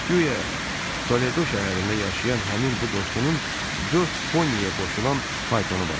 Guya Toledo şəhərində yaşayan həmin bu dostunun dörd poniyə qoşulan faytonu vardı.